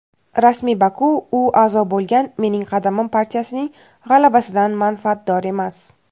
rasmiy Baku u a’zo bo‘lgan "Mening qadamim" partiyasining g‘alabasidan manfaatdor emas.